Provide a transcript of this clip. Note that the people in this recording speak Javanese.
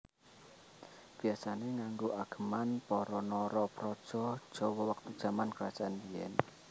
Biasane nganggo ageman para Narapraja Jawa wektu jaman kerajaan biyen